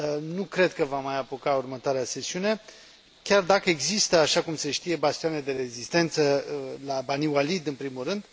Nu cred că va mai apuca următoarea sesiune, chiar dacă există, așa cum se știe, bastioane de rezistență la Bani Walid, în primul rând